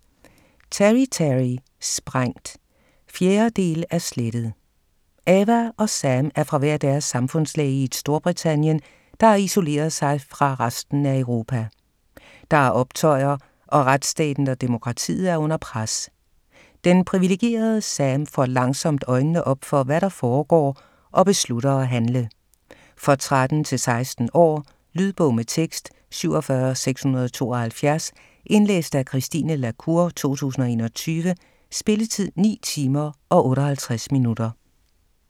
Terry, Teri: Sprængt 4. del af Slettet. Ava og Sam er fra hver deres samfundslag i et Storbritannien, der har isoleret sig fra resten af Europa. Der er optøjer og retsstaten og demokratiet er under pres. Den privilegerede Sam får langsomt øjnene op for, hvad der foregår og beslutter at handle. For 13-16 år. Lydbog med tekst 47672 Indlæst af Christine la Cour, 2021. Spilletid: 9 timer, 58 minutter.